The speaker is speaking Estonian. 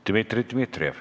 Dmitri Dmitrijev.